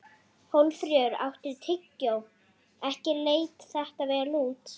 Ekki leit þetta vel út.